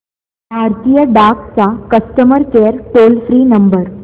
भारतीय डाक चा customer care toll free number